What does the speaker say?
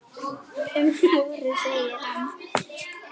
Um vorið, segir hann.